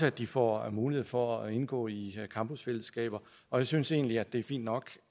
at de får mulighed for at indgå i campusfællesskaber og jeg synes egentlig det er fint nok